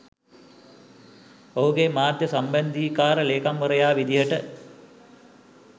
ඔහුගේ මාධ්‍ය සම්බන්ධීකාර ලේකම්වරයා විදිහට